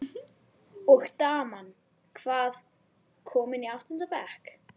Undína, hvað er klukkan?